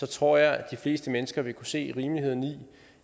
tror jeg at de fleste mennesker vil kunne se rimeligheden i